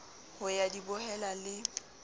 ho ya di bohela le